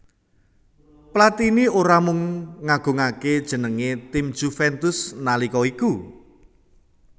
Platini ora mung ngagungaké jenengé tim Juventus nalika iku